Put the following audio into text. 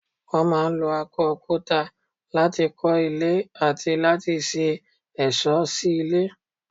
Wọ́n máa ń lo akọ òkúta láti kọ́ ilé àti láti ṣe ẹ̀ṣọ́ sí ilé.